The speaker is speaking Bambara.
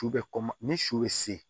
Su bɛ kɔma ni su bɛ se